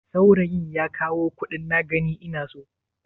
Saurayin ya kawo kuɗin na gani ina so?